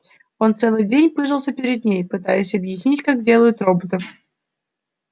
он целый день пыжился перед ней пытаясь объяснить как делают роботов